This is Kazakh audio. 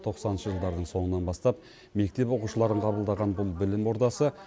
тоқсаныншы жылдардың соңынан бастап мектеп оқушыларын қабылдаған бұл білім ордасы